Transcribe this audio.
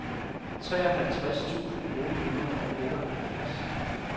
treoghalvtreds tusind otte hundrede og otteoghalvfjerds